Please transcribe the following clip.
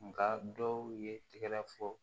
Nka dɔw ye tɛgɛrɛ fɔ